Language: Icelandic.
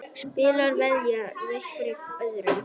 Spilarar veðja hverjir gegn öðrum.